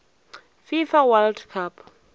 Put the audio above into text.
fifa world cup